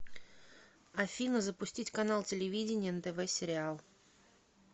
афина запустить канал телевидения нтв сериал